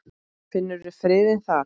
Finnur friðinn þar.